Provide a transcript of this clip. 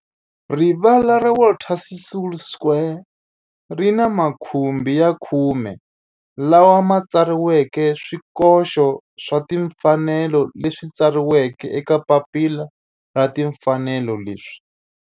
Rivala ra Walter Sisulu Square ri ni makhumbi ya khume lawa ma tsariweke swikoxo swa timfanelo leswi tsariweke eka papila ra timfanelo leswi